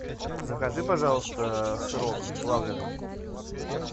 закажи пожалуйста сырок плавленный